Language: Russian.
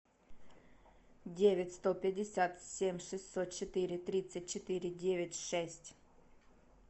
девять сто пятьдесят семь шестьсот четыре тридцать четыре девять шесть